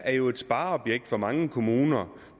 er et spareobjekt for mange kommuner